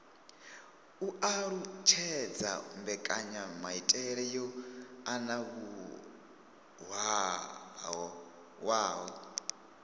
u alutshedza mbekanyamaitele yo anavhuwaho